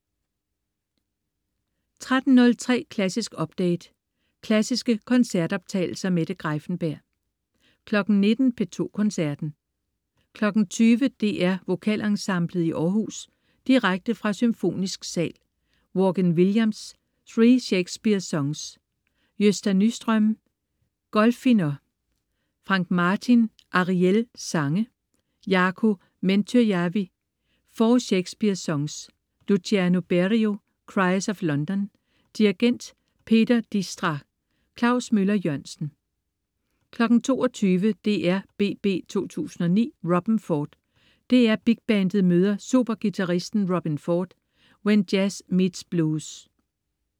13.03 Klassisk update. Klassiske koncertoptagelser. Mette Greiffenberg 19.00 P2 Koncerten. 20.00 DR VokalEnsemblet i Aarhus. Direkte fra Symfonisk sal. Vaughan Williams: Three Shakespeare Songs. Gösta Nyström: Golfiner. Frank Martin: Ariël sange. Jaakko Mäntyjärvi: Four Shakespeare Songs. Luciano Berio: Cries of London. Dirigent: Peter Dijkstra. Klaus Møller-Jørgensen 22.00 DRBB 2009 Robben Ford. DR Big Bandet møder superguitaristen Robben Ford. When jazz meets blues